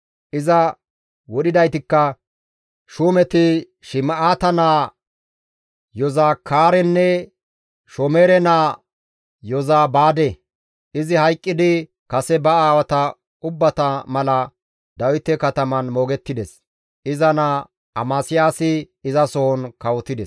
Iza wodhidaytikka shuumeti Shim7aata naa Yozakaarenne Shomereye naa Yozabaade; izi hayqqidi kase ba aawata ubbata mala Dawite katamaan moogettides; iza naa Amasiyaasi izasohon kawotides.